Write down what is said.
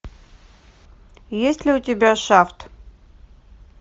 есть ли у тебя шафт